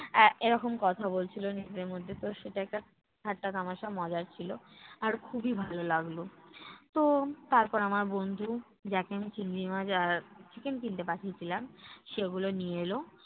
আহ এরকম কথা বলছিলো নিজেদের মধ্যে তো সেটা একটা ঠাট্টা-তামাশা মজার ছিল, আর খুবই ভালো লাগলো। তো তারপর আমার বন্ধু যাকে আমি চিংড়ি মাছ আর chicken কিনতে পাঠিয়েছিলাম, সেগুলো নিয়ে এলো।